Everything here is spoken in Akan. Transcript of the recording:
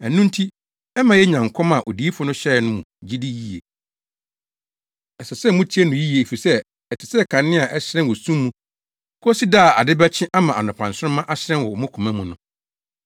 Ɛno nti ɛma yenya nkɔm a odiyifo no hyɛe no mu gyidi yiye. Ɛsɛ sɛ mutie no yiye efisɛ ɛte sɛ kanea a ɛhyerɛn wɔ sum mu kosi da a ade bɛkyɛ ama anɔpa nsoromma ahyerɛn wɔ mo koma mu no.